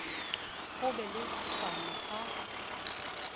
ho be le tshwano ha